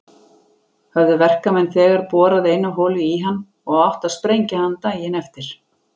Höfðu verkamenn þegar borað eina holu í hann og átti að sprengja hann daginn eftir.